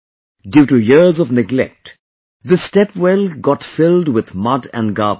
Due to years of neglect, this step well got filled with mud and garbage